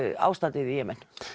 ástandið í Jemen